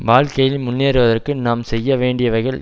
வாழ்க்கையில் முன்னேறுவதற்கு நாம் செய்ய வேண்டியவைகல்